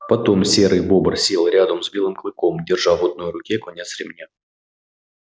потом серый бобр сел рядом с белым клыком держа в одной руке конец ремня